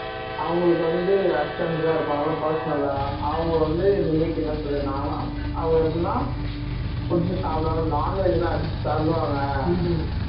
அவங்களுக்கு வந்து assistant வேற இருப்பாங்கல personal ஆ அவங்க வந்து முன்னைக்கு என்ன சொல்லிருந்தாங்கன்னா அவங்க எப்படின்னா கொஞ்சம் சாப்பிடுவாங்க non veg லாம் அடிச்சி தள்ளுவாங்க